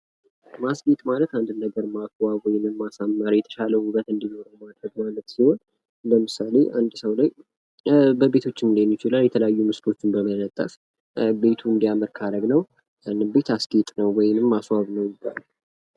የማስጌጥ ዓይነቶች እንደየቦታውና እንደ አላማው የሚለያዩ ሲሆን የቤት ውስጥ፣ የውጭና የዝግጅት ማስጌጥ ይጠቀሳሉ።